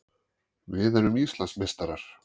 Við erum Íslandsmeistarar!